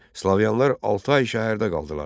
Slavyanlar altı ay şəhərdə qaldılar.